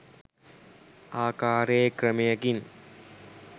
ආකාරයේ ක්‍රමයකින්.